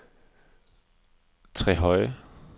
Trehøje